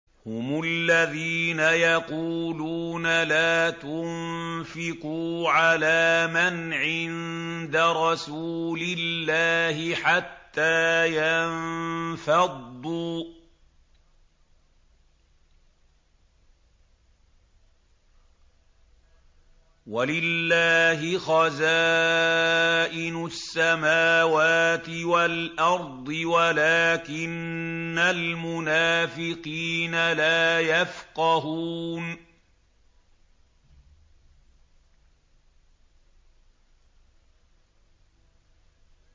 هُمُ الَّذِينَ يَقُولُونَ لَا تُنفِقُوا عَلَىٰ مَنْ عِندَ رَسُولِ اللَّهِ حَتَّىٰ يَنفَضُّوا ۗ وَلِلَّهِ خَزَائِنُ السَّمَاوَاتِ وَالْأَرْضِ وَلَٰكِنَّ الْمُنَافِقِينَ لَا يَفْقَهُونَ